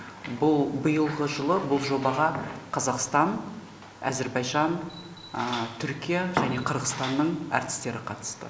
бұл биылғы жылы бұл жобаға қазақстан әзербайжан түркия және қырғызстанның әртістері қатысты